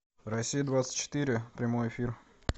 россия двадцать четыре прямой эфир